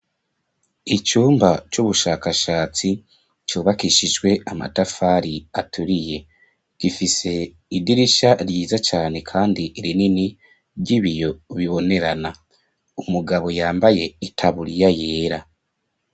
Icumba c'ubushakashatsi cubakishijwe amatafari aturiye gifise idirisha ryiza cane kandi irinini ry'ibiyo bibonerana umugabo yambaye itaburiya yera.